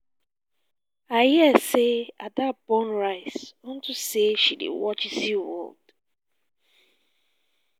i hear say ada burn rice unto say she dey watch zeaworld